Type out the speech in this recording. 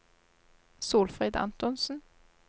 Solfrid Antonsen